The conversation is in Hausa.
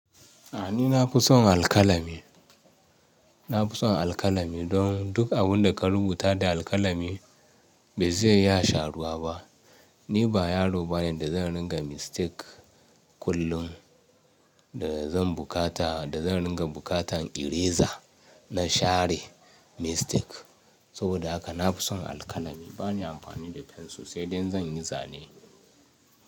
A ni na fi son alƙalami. Na fi son alƙalami don duk abin da ka rubuta da alƙalami bai zai iya sharuwa ba. Ni ba yaro bane da zan ringa mistake kullum da zan bukata, da zan ringa bukatan eraser na share mistake. Saboda haka na fi son alƙalami. Ba ni amfani da fensir sai dai in zan yi zane.